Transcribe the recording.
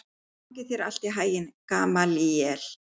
Gangi þér allt í haginn, Gamalíel.